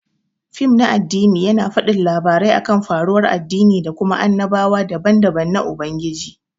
Fim na addini yana fadin labarai akan faruwan addini da Kuma annabawa daban-daban na Ubangiji.